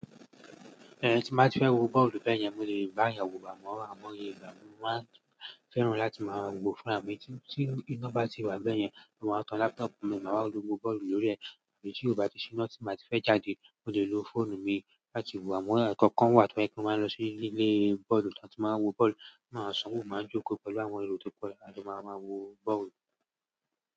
Ehn tí mo bá ti fẹ́ wo bọ́ọ̀lù bẹ́yẹn, mo lè bá eeyan wo amọ́ aimo iyè igba, mo máa fẹ́ràn láti máa wo fúnra mi. Tí iná bá ti wà bẹ́yẹn, mo máa tan laptop mi, màá wo bọ́ọ̀lù lórí ẹ̀. Tí ò bá ti ṣí iná, tí mo bá ti fẹ́ charge e, mo lè lo fóònù mi láti wo. Àmọ́ ẹ̀ẹ̀ kankan wà tí wọ́n kí máa lọ sí ilé bọ́ọ̀lù tí a tí máa wo bọ́ọ̀lù. Máa sanwó, máa jókòó pẹ̀lú àwọn ero tó po, a jo maa máa wo bọ́ọ̀lù.